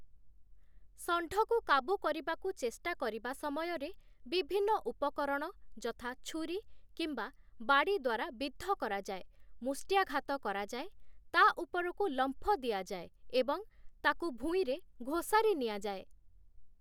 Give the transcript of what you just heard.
ଷଣ୍ଢକୁ କାବୁ କରିବାକୁ ଚେଷ୍ଟା କରିବା ସମୟରେ, ବିଭିନ୍ନ ଉପକରଣ ଯଥା ଛୁରୀ କିମ୍ବା ବାଡ଼ି ଦ୍ୱାରା ବିଦ୍ଧ କରାଯାଏ, ମୁଷ୍ଟ୍ୟାଘାତ କରାଯାଏ, ତା ଉପରକୁ ଲମ୍ଫ ଦିଆଯାଏ ଏବଂ ତାକୁ ଭୂଇଁରେ ଘୋଷାରି ନିଆଯାଏ ।